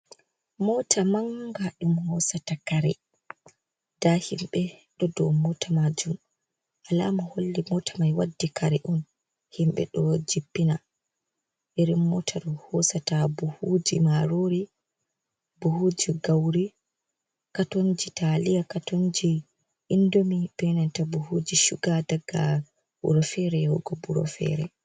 Mota manga ɗum hoosata kare. Nda himɓe ɗo dou mota majum, alama holli mota mai waddi kare on. Himɓe ɗo jippina. irin mota ɗo hoosata buhuuji marori, buhuuji gauri, katonji taliya, katonji indomi, be nanta buhuji shuga daga wuro fere yahugo wuro fere.